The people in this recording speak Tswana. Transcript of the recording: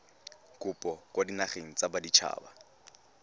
kopo kwa dinageng tsa baditshaba